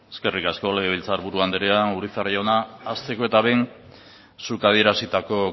eskerrik asko legebiltzar buru andrea urizar jauna hasteko eta behin zuk adierazitako